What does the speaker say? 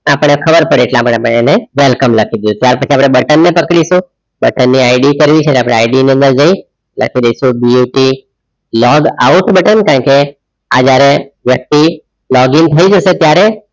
આપણે ખબર પડે એટલા માટે welcome લખી દીધું ત્યાર પછી આપણે button પર click કરીશું button ની ID કરવી છે તો આપણે ID ની અંદર જઈ લખી દઈશું B T log out button કારણકે આ જ્યારે વ્યક્તિ login થઈ જશે ત્યારે